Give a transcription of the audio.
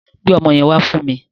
Gbe ọmọ yẹn wá fún mi